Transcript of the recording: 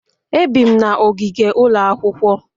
Ebi'm na ogige ụlọ akwụkwọ